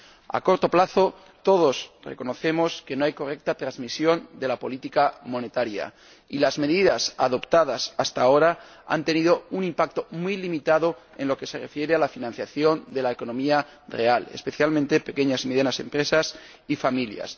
a corto plazo todos reconocemos que no hay correcta transmisión de la política monetaria y las medidas adoptadas hasta ahora han tenido un impacto muy limitado en lo que se refiere a la financiación de la economía real, especialmente de pequeñas y medianas empresas y familias.